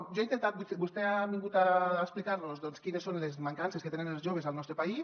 vostè ha vingut a explicar·nos quines són les mancances que tenen els joves al nostre país